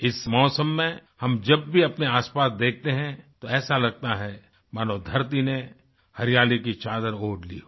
इस मौसम में हम जब भी अपने आसपास देखते हैं तो ऐसा लगता है मानो धरती ने हरियाली की चादर ओढ़ ली हो